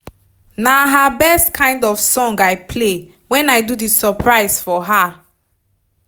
na her best kind of song i play when i do the surprise for her